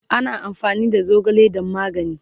ana amfani da zogale dan magani